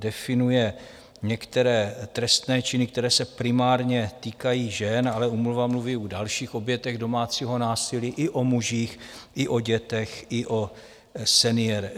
Definuje některé trestné činy, které se primárně týkají žen, ale úmluva mluví o dalších obětech domácího násilí, i o mužích, i o dětech, i o seniorech.